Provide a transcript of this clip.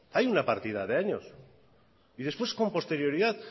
hay una partida de años y después con posterioridad